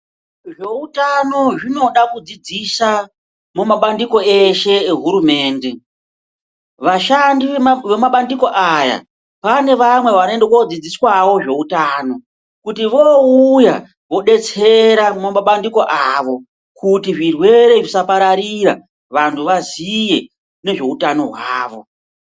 Zveutano zvinoda kudzidzisa mumabandiko eshe ehurumende. Vashandi vemumabandiko aya pane vamwe vanoenda koodzidziswawo zveutano. Kuti voouya vodetsera mumabandiko avo kuti zvirwere zvisapararira, vantu vaziye nezveutano hwavo.